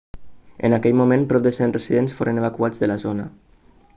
en aquell moment prop de 100 residents foren evacuats de la zona